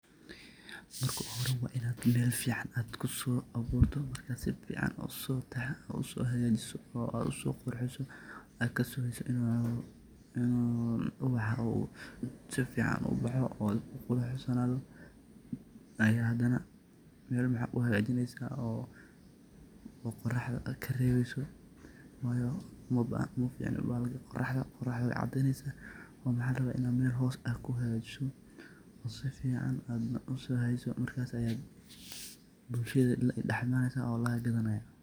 Marka hore wa inaad mel fcn aad kuso abuurto marka sifacan aad usohagajiso oo aad usoqurxiso aad kasugeyso inu ubaxa sifcan uu ubaxo oo u ku quruxsanaaado, aya hadana mel maxa uhagajineysa oo qoraxda karebeyso wayo umaficno bahalka qoraxda, qoraxda wey cadeneysa oo mxa laraba ina mel hoos aa kuhagajiso oo sfcn aadna usoheyso markas ayaad bulshada la dhax imaneysa oo laga gadanaya.